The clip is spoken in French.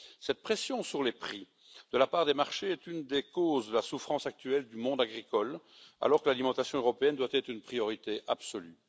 Cette pression sur les prix de la part des marchés est une des causes de la souffrance actuelle du monde agricole, alors que l'alimentation européenne doit être une priorité absolue.